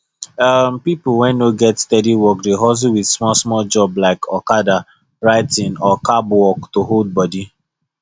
um people wey no get steady work dey hustle with smallsmall job like okada writing or cab work to hold body